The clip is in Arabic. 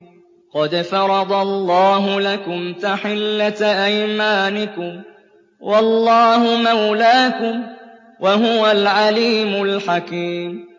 قَدْ فَرَضَ اللَّهُ لَكُمْ تَحِلَّةَ أَيْمَانِكُمْ ۚ وَاللَّهُ مَوْلَاكُمْ ۖ وَهُوَ الْعَلِيمُ الْحَكِيمُ